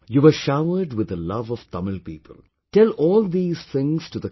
You were showered with the the love of Tamil people, tell all these things to the country